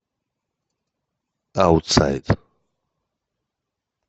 аутсайд